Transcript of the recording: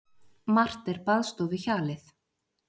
Margt er baðstofuhjalið.